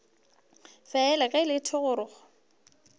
fela ge e le thogorogo